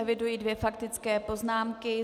Eviduji dvě faktické poznámky.